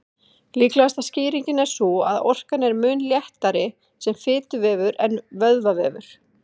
Líklegasta skýringin er sú að orkan er mun léttari sem fituvefur en vöðvavefur.